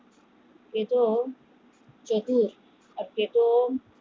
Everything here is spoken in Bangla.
সেতো ও